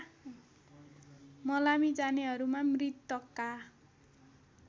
मलामी जानेहरूमा मृतकका